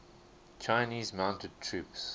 chinese mounted troops